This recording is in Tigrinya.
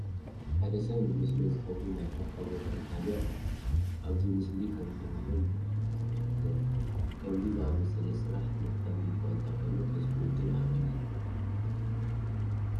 ሓደ ሰብ ንመስኖ ዝኸውን ናይ ሕርሻ ቦታ የዳሉ ኣሎ፡፡ ኣብዚ ምስሊ ከምእንሪኦ ንማይ እዩ ዝመርሕ ዘሎ፡፡ ከምዚ ዝኣምሰለ ስራሕ መድከሚ እዃ እንተኾነ ተስፍኡ ግን ዓብዪ እዩ፡፡